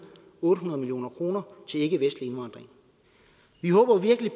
otte hundrede million kroner til ikkevestlig indvandring vi håber virkelig